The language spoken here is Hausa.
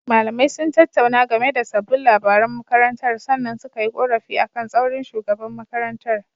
Malamai sun tattauna game da sabbin labaran makarantar sannan suka yi ƙorafi akan tsaurin shugaban makarantar.